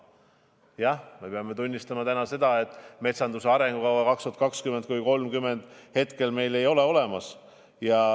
Jah, me peame tunnistama, et metsanduse arengukava 2020–2030 meil ei ole olemas.